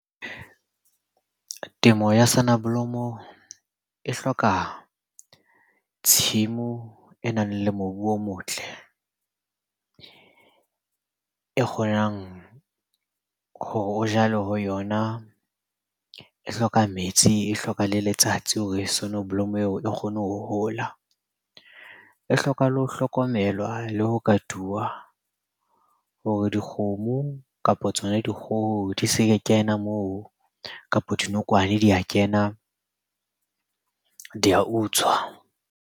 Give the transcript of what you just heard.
Temo ya soneblomo e hloka tshimo o e nang le mobu o motle. E kgonang hore o jale ho yona. E hloka metsi, e hloka le letsatsi hore soneblomo eo e kgone ho hola. E hloka le ho hlokomelwa le ho katuwa hore dikgomo, kapa tsona dikgoho di se kena moo, kapa dinokwane di a kena di a utswa.